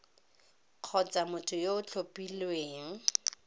kgotsa motho yo o tlhophilweng